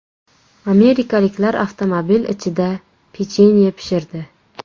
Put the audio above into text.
Amerikaliklar avtomobil ichida pechenye pishirdi .